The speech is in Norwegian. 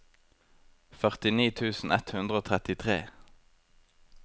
førtini tusen ett hundre og trettitre